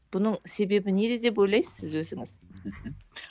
бұның себебі неде деп ойлайсыз өзіңіз